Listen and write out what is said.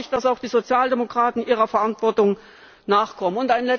Hier erwarte ich, dass die Sozialdemokraten ihrer Verantwortung nachkommen.